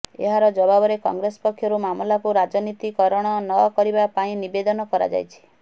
ଏହାର ଜବାବରେ କଂଗ୍ରେସ ପକ୍ଷରୁ ମାମଲାକୁ ରାଜନୀତୀକରଣ ନ କରିବା ପାଇଁ ନିବେଦନ କରାଯାଇଛି